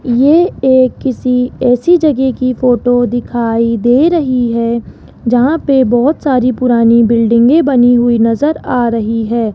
ये एक किसी ऐसी जगह की फोटो दिखाई दे रही है जहां पे बहोत सारी पुरानी बिल्डिंगे बनी हुई नजर आ रही है।